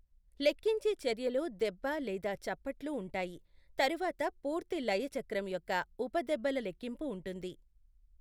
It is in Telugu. లెక్కించే చర్యలో దెబ్బ లేదా చప్పట్లు ఉంటాయి, తరువాత పూర్తి లయ చక్రం యొక్క ఉప దెబ్బల లెక్కింపు ఉంటుంది.